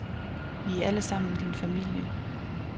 Vi er alle sammen din familie.